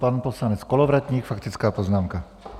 Pan poslanec Kolovratník, faktická poznámka.